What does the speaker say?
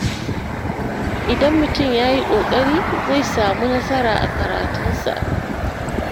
Idan mutum ya yi kokari, zai samu nasara a karatunsa.